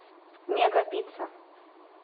мега пицца